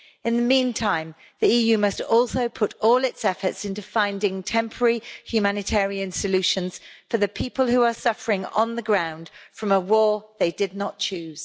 In the meantime, the EU must also put all its efforts into finding temporary humanitarian solutions for the people who are suffering on the ground from a war they did not choose.